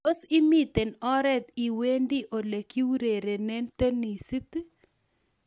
tos, imiten oret iwendi olegiurerene tenisit?